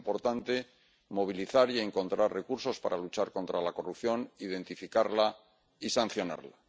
Es importante movilizar y encontrar recursos para luchar contra la corrupción, identificarla y sancionarla.